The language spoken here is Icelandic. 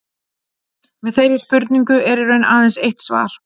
Við þeirri spurningu er í raun aðeins eitt svar.